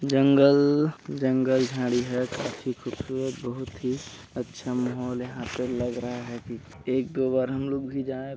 जंगल -जंगल झाड़ी है काफी खूबसूरत बहुत ही अच्छा माहोल है यहाँ पे लग रहा है कि एक दो बार हमलोग भी जाए--